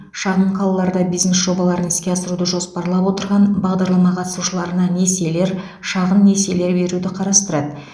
шағын қалаларда бизнес жобаларын іске асыруды жоспарлап отырған бағдарлама қатысушыларына несиелер шағын несиелер беруді қарастырады